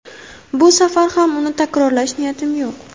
Bu safar ham uni takrorlash niyatim yo‘q.